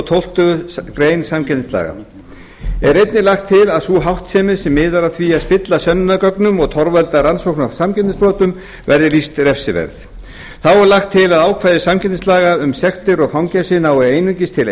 tólftu greinar samkeppnislaga er einnig lagt til að sú háttsemi sem miðar að því að spilla sönnunargögnum og torvelda rannsókn á samkeppnisbrotum verði lýst refsiverð þá er lagt til að ákvæði samkeppnislaga um sektir eða fangelsi nái einungis til